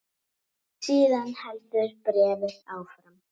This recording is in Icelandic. Síðan heldur bréfið áfram